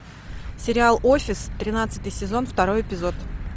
сериал офис тринадцатый сезон второй эпизод